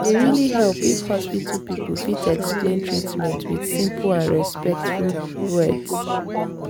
e dey really help if hospital people fit explain treatment with simple and respectful words.